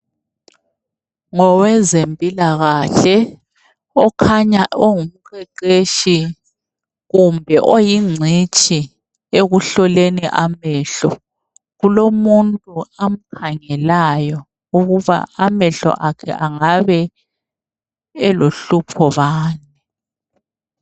Ngowezempilakahle okhanya engumqeqeshi kumbe eyingcitshi ekuhloleni amehlo .Kulomuntu amkhangelayo ukuba amehlo akhe angabe elohlupho bani.